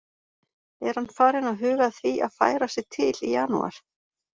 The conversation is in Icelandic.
Er hann farinn að huga að því að færa sig til í janúar?